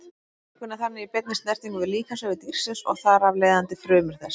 Blóðvökvinn er þannig í beinni snertingu við líkamsvefi dýrsins og þar af leiðandi frumur þess.